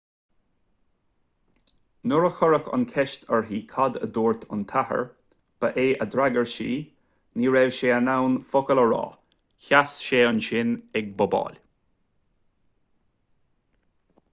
nuair a cuireadh an cheist uirthi cad a dúirt an t-athair ba é a d'fhreagair sí ní raibh sé in ann focal a rá sheas sé ansin ag bobáil